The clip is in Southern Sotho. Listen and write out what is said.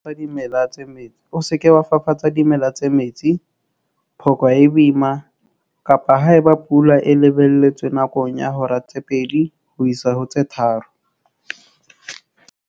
O se ke wa fafatsa dimela tse metsi, phoka e boima, kapa ha eba pula e lebelletswe nakong ya hora tse 2 ho isa ho tse 3.